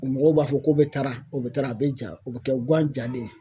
Mɔgɔw b'a fɔ ko bɛ tara o bɛ tara a bɛ ja o bɛ kɛ guwan jalen ye